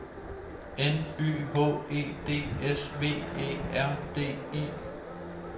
N Y H E D S V Æ R D I